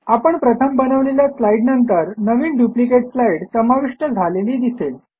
आपण प्रथम बनवलेल्या स्लाईड नंतर नवीन डुप्लिकेट स्लाईड समाविष्ट झालेली दिसेल